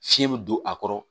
Fiɲɛ bɛ don a kɔrɔ